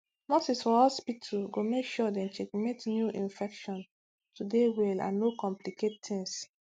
nurses for hospitu go make sure dem checkmate new infection to dey well and no complicate tings